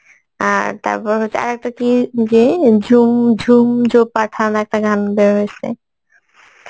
আর তারপর হচ্ছে আরেকটা কি যে ঝুম~ ঝুমজো পাঠান একটা গান বেরোয়সে